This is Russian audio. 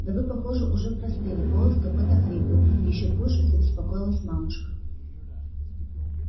да вы похоже уже простыли голос какой-то хриплый ещё пуще забеспокоилась мамушка